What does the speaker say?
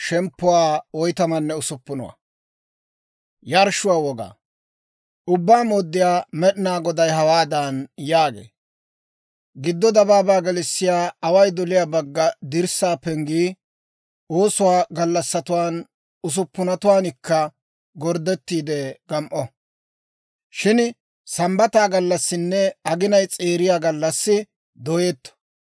« ‹Ubbaa Mooddiyaa Med'inaa Goday hawaadan yaagee; «Giddo dabaabaa gelissiyaa away doliyaa bagga dirssaa penggii oosuwaa gallassatuwaan usuppunatuwaankka gorddettiide gam"o; shin Sambbata gallassinne aginay s'eeriya gallassi dooyetto.